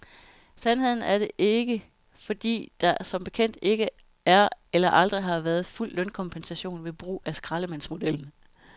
Sandheden er det ikke, fordi der som bekendt ikke er eller aldrig har været fuld lønkompensation ved brug af skraldemandsmodellen.